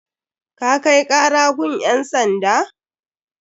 Ka kai kara gun ƴan sanda?